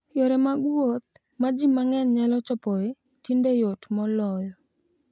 Yore mag wuoth ma ji mang'eny nyalo chopoe tinde yot moloyo.